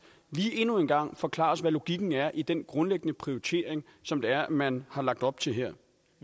lige endnu en gang forklare os hvad logikken er i den grundlæggende prioritering som det er at man har lagt op til her